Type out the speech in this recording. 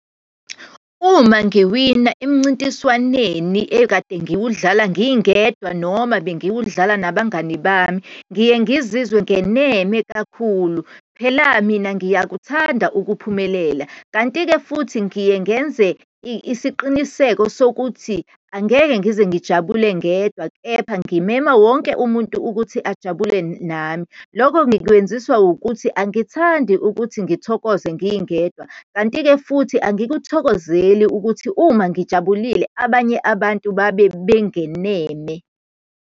Uma ngiwina emncintiswaneni ekade ngiwudlala ngingedwa, noma bengiwudlala nabangani bami, ngiye ngizizwe ngeneme kakhulu. Phela mina ngiyakuthanda ukuphumelela, kanti-ke futhi ngiye ngenze isiqiniseko sokuthi angeke ngize ngijabule ngedwa, kepha ngimema wonke umuntu ukuthi ajabule nami. Lokho ngikwenziswa ukuthi angithandi ukuthi ngithokoze ngingedwa, kanti-ke futhi angikuthokozeli ukuthi uma ngijabulile abanye abantu babe bengeneme.